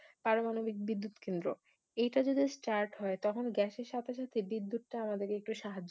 পারমানবিক বিদ্যুৎ কেন্দ্র এইটা যে Just Start হয় তখন Gas এর সাথে সাথে বিদ্যুৎ টা আমাদেরি সাহায্য করবে